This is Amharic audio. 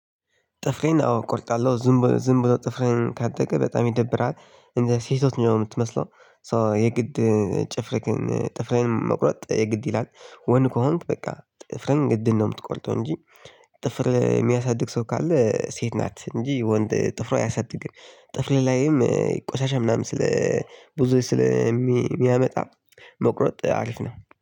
ጥፍሬን አዎ እቆርጣለሁ። ዝም ብሎ ዝም ብሎ ጥፍሬን ካደገ በጣም ይደብራል። እንደ ሴቶች ነው የምትመስለው ሶ የግድ ጥፍርክን ጥፍሬን መቁረጥ የግድ ይላል። ወንድ ከሆንክ በቃ ጥፍርህን ግድ ነው የምትቆርጠው እንጂ ጥፍር የሚያሳድግ ሰው ካለ ሴት ናት እንጂ ወንድ ጥፍር አያሳድግም። ጥፍር ላይም ቆሻሻ ምናምን ስለ ብዙ ስለሚያመጣ መቁረጥ አሪፍ ነው።